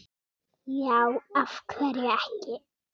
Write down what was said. já af hverju ekki